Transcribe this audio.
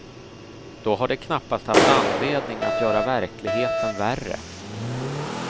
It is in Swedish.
Då har de knappast haft anledning att göra verkligheten värre.